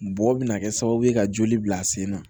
Bɔgɔ bɛna kɛ sababu ka joli bila sen na